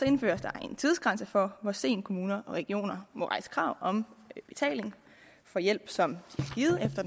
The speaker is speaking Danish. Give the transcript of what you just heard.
indføres der en tidsgrænse for hvor sent kommuner og regioner må rejse krav om betaling for hjælp som